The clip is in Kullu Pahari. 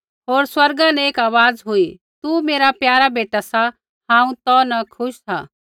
होर स्वर्गा न एक आवाज़ हुई तू मेरा प्यारा बेटा सा हांऊँ तौ न खुश सा